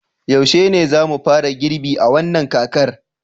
yaushe ne za mu fara girbi a wannan kakar